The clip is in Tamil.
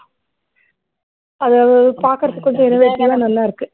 அதை பாக்குறதுக்கு கூட innovative ஆ நல்லா இருக்கு